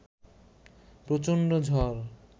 প্রচণ্ড ঝড়